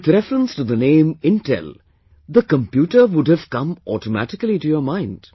With reference to the name Intel, the computer would have come automatically to your mind